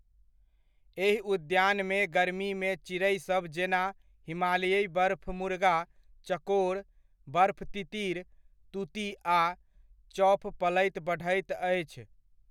एहि उद्यानमे गर्मीमे चिड़ैसभ जेना, हिमालयी बर्फमुर्गा, चकोर, बर्फ तितिर, तूती आ चॉफ पलैत बढ़ैत अछि।